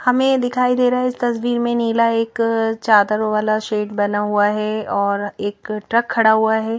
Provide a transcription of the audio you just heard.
हमें दिखाई दे रहा है इस तस्वीर में नीला एक अ चादर वाला शेड बना हुआ है और एक ट्रक खड़ा हुआ है।